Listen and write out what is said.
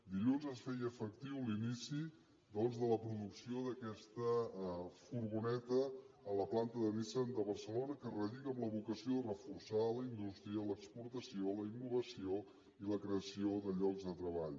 dilluns es feia efectiu l’inici doncs de la producció d’a questa furgoneta a la planta de nissan de barcelona que relliga amb la vocació de reforçar la indústria l’exportació la innovació i la creació de llocs de treball